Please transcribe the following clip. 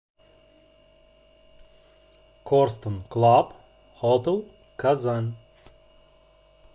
корстон клаб хотел казан